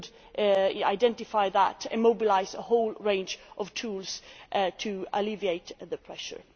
We could identify that and mobilise a whole range of tools to alleviate the pressure.